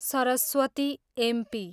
Saraswati, MP